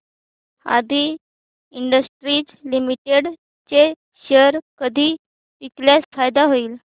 आदी industries limited चे share कधी विकल्यास फायदा होईल